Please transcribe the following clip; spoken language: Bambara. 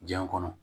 Diɲɛ kɔnɔ